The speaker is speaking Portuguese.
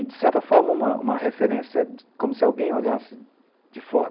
E, de certa forma, uma, um referência como se alguém olhasse de fora.